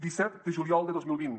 disset de juliol de dos mil vint